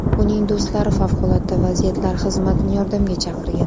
Uning do‘stlari favqulodda vaziyatlar xizmatini yordamga chaqirgan.